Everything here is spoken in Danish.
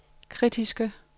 kritiske